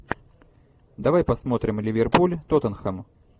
давай посмотрим ливерпуль тоттенхэм